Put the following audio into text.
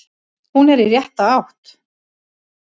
Hún er í rétta átt.